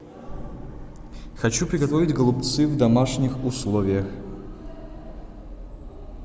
хочу приготовить голубцы в домашних условиях